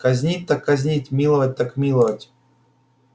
казнить так казнить миловать так миловать